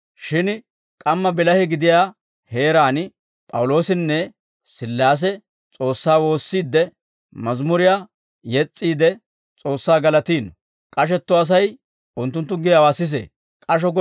Shin k'amma bilahe gidiyaa heeraan P'awuloosinne Sillaase S'oossaa woossiidde, mazimuriyaa yes's'iide S'oossaa galatiino; k'ashetto Asay unttunttu giyaawaa sisee. P'awuloosinne Silaasi K'asho Gollen